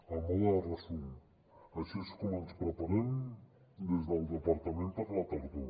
a mode de resum així és com ens preparem des del departament per a la tardor